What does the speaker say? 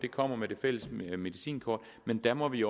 kommer med det fælles medicinkort men der må vi